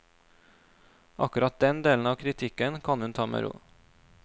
Akkurat den delen av kritikken kan hun ta med ro.